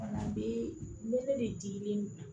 A bɛ mele de digilen na